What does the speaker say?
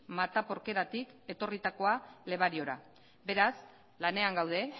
mataporqueratik etorritakoa lebariora beraz lanean gaude